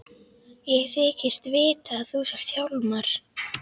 Ég þykist vita að þú sért Hjálmar.